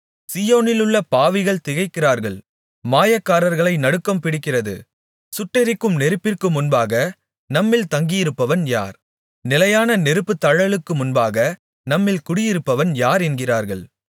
சீயோனிலுள்ள பாவிகள் திகைக்கிறார்கள் மாயக்காரர்களை நடுக்கம்பிடிக்கிறது சுட்டெரிக்கும் நெருப்பிற்கு முன்பாக நம்மில் தங்கியிருப்பவன் யார் நிலையான நெருப்புத்தழலுக்கு முன்பாக நம்மில் குடியிருப்பவன் யார் என்கிறார்கள்